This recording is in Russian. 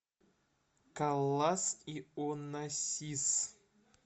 каллас и онассис